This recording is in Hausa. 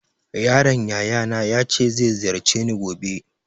My nephew said he will visit me tomorrow.